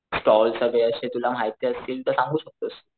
Stalls सगळे अशे तुला माहिती असतील तर तू सांगू शकतोस.